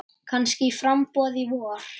Kannski í framboð í vor.